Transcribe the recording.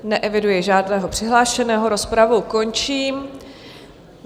Neeviduji žádného přihlášeného, rozpravu končím.